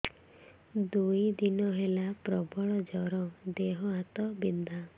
ଦୁଇ ଦିନ ହେଲା ପ୍ରବଳ ଜର ଦେହ ହାତ ବିନ୍ଧା